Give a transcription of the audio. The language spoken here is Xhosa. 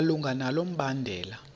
malunga nalo mbandela